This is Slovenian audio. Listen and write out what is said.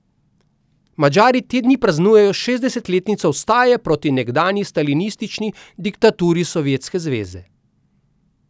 Madžari te dni praznujejo šestdesetletnico vstaje proti nekdanji stalinistični diktaturi Sovjetske zveze.